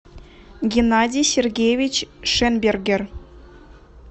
геннадий сергеевич шенбергер